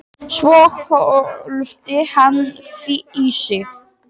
Svo hvolfdi hann því í sig.